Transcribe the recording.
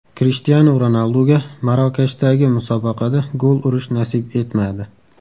Krishtianu Ronalduga Marokashdagi musobaqada gol urish nasib etmadi.